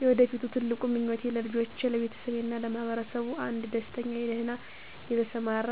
የወደፊት ትልቁ ምኞቴ ለልጆቼ፣ ለቤተሰቤ እና ለማህበረሰብ አንድ ደስተኛ፣ ደህና የተሰማራ